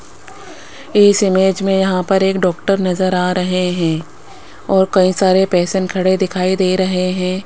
इस इमेज में यहां पर एक डॉक्टर नजर आ रहे हैं और कई सारे पेशेंट खड़े दिखाई दे रहे हैं।